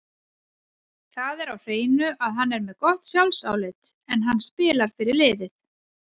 Það er á hreinu að hann er með gott sjálfsálit, en hann spilar fyrir liðið.